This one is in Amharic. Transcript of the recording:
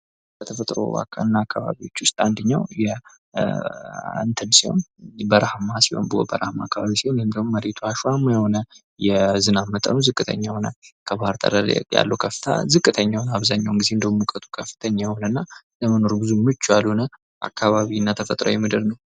ከተፈጥሮና አካባቢዎች ውስጥ አንደኛው በረሃ ሲሆን በርሀማ አከባቢ ወይም ደግሞ መሬቱ አሸዋማ የሆነ የዝናም መጠኑ ዝቅተኛ የሆነ አብዛኛው ጊዜ እንደውም ሙቀቱ ከፍተኛ የሆነ እና ለመኖር ብዙም ምቹ ያልሆነ አካባቢና ተፈጥሮኣዊ ምድር ነው።